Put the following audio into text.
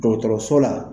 Dɔgɔtɔrɔso la